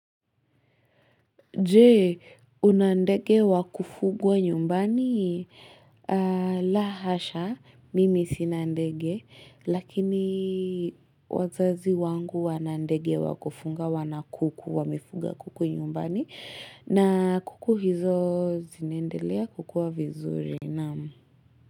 Je, una ndege wa kufugwa nyumbani? La hasha, mimi sina ndege. Lakini wazazi wangu wana ndege wa kufuga, wana kuku wamefuga kuku nyumbani. Na kuku hizo zinaendelea kukua vizuri, Naam.